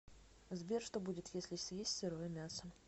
сбер что будет если съесть сырое мясо